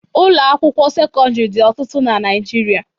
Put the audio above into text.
Ụlọ akwụkịwọ sekọndịrị dị ọtụtụ na Naịjirịa.